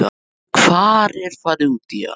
Hvar er farið út í hann?